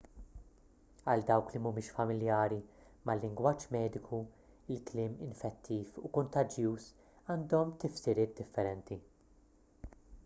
għal dawk li mhumiex familjari mal-lingwaġġ mediku il-kliem infettiv u kuntaġġuż għandhom tifsiriet differenti